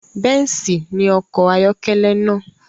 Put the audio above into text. Bẹ́ǹsì ni ọkọ̀ ayọ́kẹ́lẹ́ náà